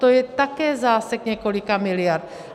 To je také zásek několika miliard.